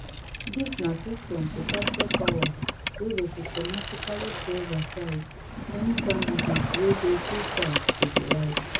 dis na system to capture power wey go systematically throws aside any candidate wey dey too far to di right